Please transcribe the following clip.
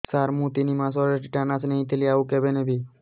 ସାର ମୁ ତିନି ମାସରେ ଟିଟାନସ ନେଇଥିଲି ଆଉ କେବେ ନେବି